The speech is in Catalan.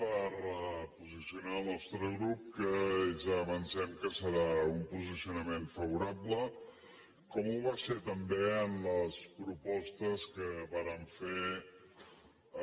per posicionar el nostre grup que ja avancem que serà un posicionament favorable com ho va ser també en les propostes que vàrem